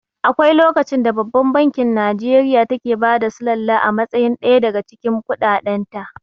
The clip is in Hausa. Akwai lokacin da babban bankin Nijeriya take bada sullala a matsayin ɗaya daga cikin kuɗaɗen ta